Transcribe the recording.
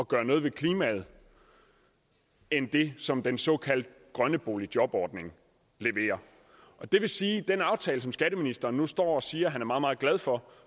gøre noget ved klimaet end det som den såkaldt grønne boligjobordning leverer det vil sige at den aftale som skatteministeren nu står og siger at han er meget meget glad for